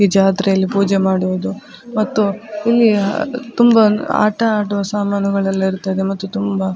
ಈ ಜಾತ್ರೆಯಲ್ಲಿ ಪೂಜೆ ಮಾಡುವುದು ಮತ್ತು ಇಲ್ಲಿ ತುಂಬ ಆಟ ಆಡುವ ಸಾಮಾನುಗಳೆಲ್ಲ ಇರ್ತದೆ ಮತ್ತು ತುಂಬ --